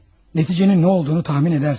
Nəticənin nə olduğunu təxmin edərsiniz.